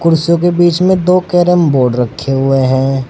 कुर्सियों के बीच में दो कैरम बोर्ड रखे हुए हैं।